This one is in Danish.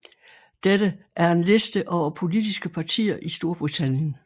Dette er en liste over politiske partier i Storbritannien